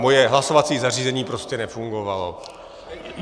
Moje hlasovací zařízení prostě nefungovalo.